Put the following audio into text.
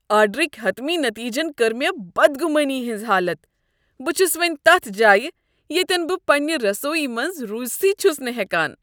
آرڈرٕکۍ حطمی نٔتیٖجن کٔر مے٘ بدگُمٲنی ہٕنٛز حالتھ۔ بہٕ چھس وونہِ تتھ جایہ ییٚتٮ۪ن بہٕ پنٛنہ رسویہ منٛز روٗزِٖتھٕے چھس نہٕ ہٮ۪کان۔